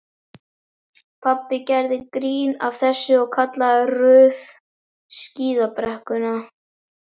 Pabbi gerði grín að þessu og kallaði Ruth skíðabrekkuna.